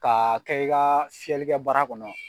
K'a kɛ i ka fiyɛlikɛ baara kɔnɔ